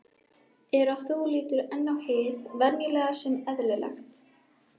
er að þú lítur enn á hið venjulega sem eðlilegt.